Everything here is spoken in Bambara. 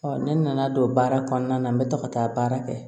ne nana don baara kɔnɔna na n bɛ to ka taa baara kɛ